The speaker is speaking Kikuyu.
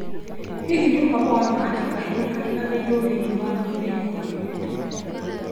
Hihi nĩ ũhoro wa ma atĩ kahee gariganĩrũo thĩinĩ wa kambĩini kũhe kairĩtu hinya?